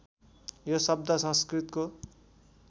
यो शब्द संस्कृतको